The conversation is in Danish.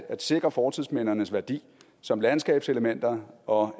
sikre fortidsmindernes værdi som landskabselementer og